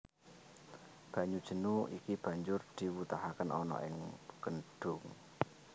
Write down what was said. Banyu jenu iki banjur diwutahake ana ing kedhung